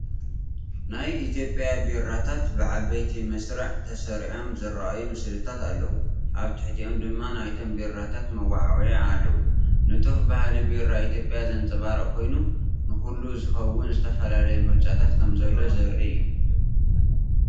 ናይ ኢትዮጵያ ቢራታት ብዓበይቲ መስርዕ ተሰሪዖም ዝረኣዩ ስእልታት ኣለዉ፣ ኣብ ትሕቲኦም ድማ ናይቶም ቢራታት መወዓውዒታት ኣለዉ። ንጡፍ ባህሊ ቢራ ኢትዮጵያ ዘንጸባርቕ ኮይኑ፡ ንኹሉ ዝኸውን ዝተፈላለየ ምርጫታት ከምዘሎ ዘርኢ እዩ።